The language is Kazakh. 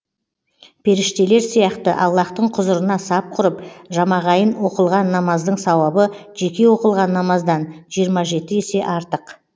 періштелер сияқты аллаһтың құзырына сап құрып жамағайын оқылған намаздың сауабы жеке оқылған намаздан жиырма жеті есе артық